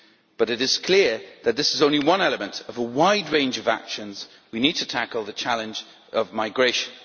But it is clear that this is only one element of a wide range of actions we need in order to tackle the challenge of migration.